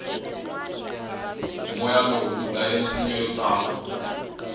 moya lowu wudlaye misinya yotala